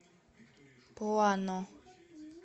плано